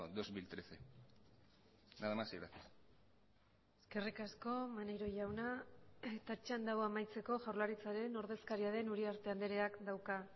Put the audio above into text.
dos mil trece nada más y gracias eskerrik asko maneiro jauna eta txanda hau amaitzeko jaurlaritzaren ordezkaria den uriarte andreak dauka